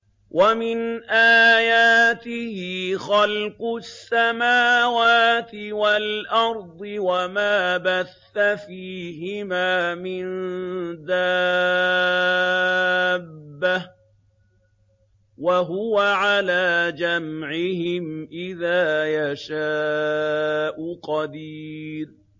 وَمِنْ آيَاتِهِ خَلْقُ السَّمَاوَاتِ وَالْأَرْضِ وَمَا بَثَّ فِيهِمَا مِن دَابَّةٍ ۚ وَهُوَ عَلَىٰ جَمْعِهِمْ إِذَا يَشَاءُ قَدِيرٌ